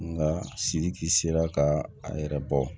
Nka sidiki sera ka a yɛrɛ bɔ